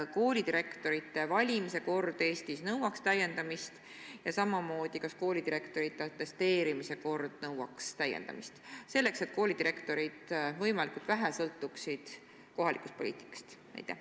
Kas koolidirektorite valimise kord Eestis nõuaks täiendamist ja kas koolidirektorite atesteerimise kord nõuaks täiendamist, selleks et koolidirektorid võimalikult vähe sõltuksid kohalikust poliitikast?